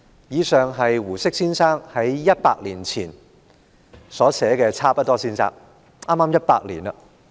以上是胡適先生100年前在《差不多先生傳》所寫的，距今剛好100年。